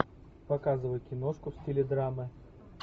показывай киношку в стиле драмы